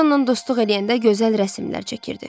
Siz onunla dostluq eləyəndə gözəl rəsmlər çəkirdi.